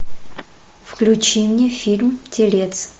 включи мне фильм телец